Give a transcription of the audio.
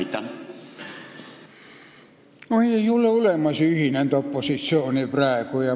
Praegu ei ole ju olemas ühinenud opositsiooni.